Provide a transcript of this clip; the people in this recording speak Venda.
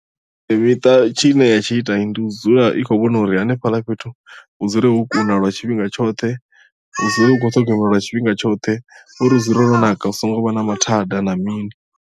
Miṱa tshine ya tshi ita ndi u dzula i khou vhona uri hanefhaḽa fhethu hu dzule ho kuna lwa tshifhinga tshoṱhe hu dzule hu khou ṱhogomeliwa lwa tshifhinga tshoṱhe uri hu dzule ho naka hu songo vha na mathada na mini.